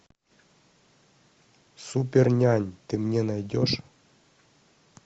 супернянь ты мне найдешь